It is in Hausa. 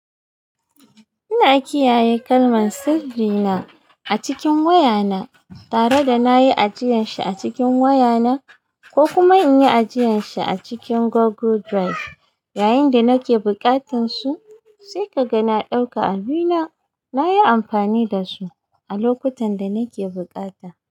Ina kiyaye kalman sirri na a cikin wayana tare da na yi ajiyan shi a cikin wayana ko kuma in yi ajiyan shi a cikin Google Drive yayin da nake buƙatan su sai kaga na ɗauka abina. Na yi amfani da su a lokutan da nake bukata.